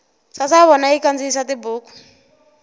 sasavona yi kandziyisa tibuku